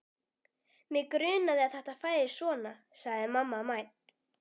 Mig grunaði að þetta færi svona sagði mamma mædd.